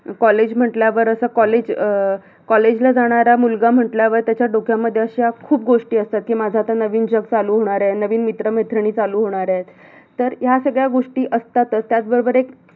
college म्हटल्यावर अस college अं college ला जाणारा मुलगा म्हटल्यावर त्याच्या डोक्यामध्ये अशा खूप गोष्टी असतात कि माझ आता नवीन जग चालू होणारय, नवीन मित्र-मैत्रिणी चालू होणारायत तर या सगळ्या गोष्टी असतातच त्याबरोबर एक